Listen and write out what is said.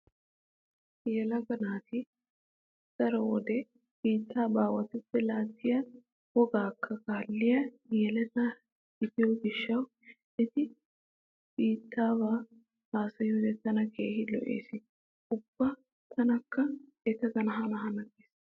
Yelaga naati daro wode biitta baawatuppe laattiya wogaakka kaalliya yeleta gidiyo gishshawu eti biittaaba haasayiyode tana keehi lo'ees. Ubba tanakka etaagaadan hana hana gees.